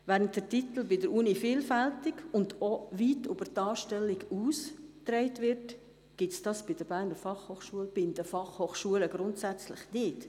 Während der Titel bei der Universität vielfältig und auch weit über die Anstellung hinaus getragen wird, gibt es dies bei der BFH und bei den Fachhochschulen grundsätzlich nicht.